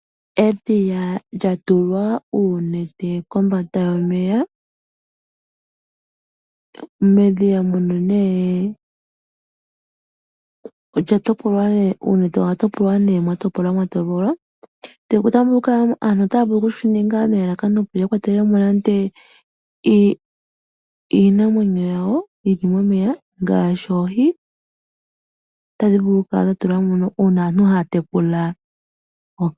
Edhiya lya tulwa uunete kombanda yomeya. Medhiya muno nee, ondjatopolwa . Aantu otaya vulu okushininga opo ya kwatelemo iinamweyo yawo momeya ngaashi oohi.